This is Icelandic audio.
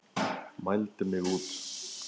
Mældi mig út.